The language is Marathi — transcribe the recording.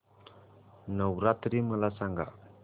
नवरात्री मला सांगा